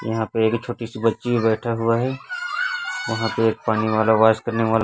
यहां पे एक छोटी सी बच्ची बैठा हुआ है वहां पे एक पानी वाला वॉयस करने वाला--